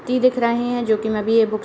T दिख रहें है। जोकि मैं भी ये बुक --